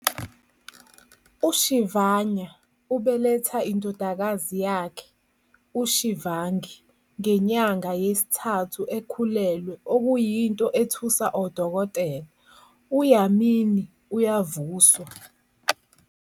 UShivanya ubeletha indodakazi yakhe, uShivangi ngenyanga yesithathu ekhulelwe okuyinto ethusa odokotela. UYamini uyavuswa.